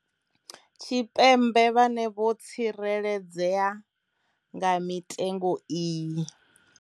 Tshipembe vhane vho tsikeledzea nga mitengo iyi.